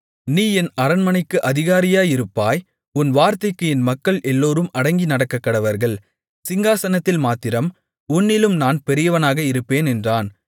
நீ என் அரண்மனைக்கு அதிகாரியாயிருப்பாய் உன் வார்த்தைக்கு என் மக்கள் எல்லோரும் அடங்கி நடக்கக்கடவர்கள் சிங்காசனத்தில் மாத்திரம் உன்னிலும் நான் பெரியவனாக இருப்பேன் என்றான்